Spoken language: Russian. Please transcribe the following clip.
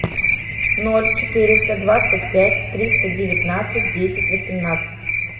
ноль четыреста двадцать пять триста девятнадцать десять восемнадцать